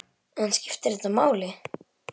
En skiptir þetta máli?